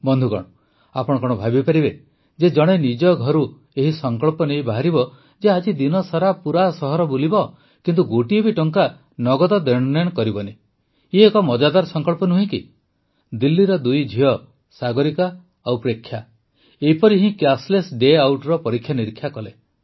ବନ୍ଧୁଗଣ ଆପଣ କଣ ଭାବିପାରିବେ ଯେ ଜଣେ ନିଜ ଘରୁ ଏହି ସଂକଳ୍ପ ନେଇ ବାହାରିବ ଯେ ସେ ଆଜି ଦିନସାରା ପୁରା ସହର ବୁଲିବ କିନ୍ତୁ ଗୋଟିଏ ବି ଟଙ୍କା ନଗଦ ଦେଣନେଣ କରିବ ନାହିଁ ଇଏ ଏକ ମଜାଦାର ସଂକଳ୍ପ ନୁହେଁ କି ଦିଲ୍ଲୀର ଦୁଇ ଝିଅ ସାଗରିକା ଓ ପ୍ରେକ୍ଷା ଏପରି ହିଁ କ୍ୟାସ୍ଲେସ୍ ଡେ ଆଉଟର ପରୀକ୍ଷା ନିରୀକ୍ଷା କଲେ